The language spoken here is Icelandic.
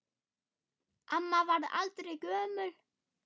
Amma varð aldrei gömul.